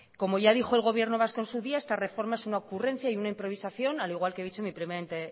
como ya dijo el gobierno vasco en su día esta reforma es una ocurrencia y una improvisación al igual que he dicho en mi primera